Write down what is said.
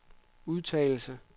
udtalelse